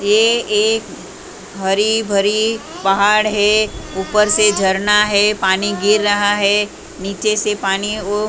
ये एक हरी भरी पहाड़ है ऊपर से झरना है पानी गिर रहा है नीचे से पानी ओ--